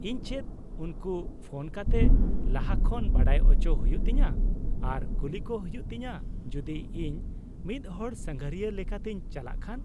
-ᱤᱧ ᱪᱮᱫ ᱩᱱᱠᱩ ᱯᱷᱚᱱ ᱠᱟᱛᱮᱫ ᱞᱟᱦᱟ ᱠᱷᱚᱱ ᱵᱟᱰᱟᱭ ᱚᱪᱚ ᱦᱩᱭᱩᱜ ᱛᱤᱧᱟᱹ ᱟᱨ ᱠᱩᱞᱤ ᱠᱚ ᱦᱩᱭᱩᱜ ᱛᱤᱧᱟᱹ ᱡᱩᱫᱤ ᱤᱧ ᱢᱤᱫ ᱦᱚᱲ ᱥᱟᱸᱜᱷᱟᱨᱤᱭᱟᱹ ᱞᱮᱠᱟᱛᱮᱧ ᱪᱟᱞᱟᱜ ᱠᱷᱟᱱ ?